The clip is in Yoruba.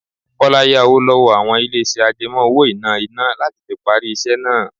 Kọ́lá yá owó lọ́wọ́ àwọn ilé iṣẹ́ àjẹmó-owó-ìná iná láti fi parí iṣẹ́ náà.